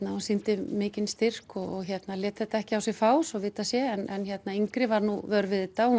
og sýni mikinn styrk og lét þetta ekki á sig fá svo vitað sé en yngri var vör við þetta og